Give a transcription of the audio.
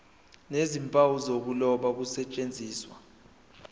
nezimpawu zokuloba kusetshenziswe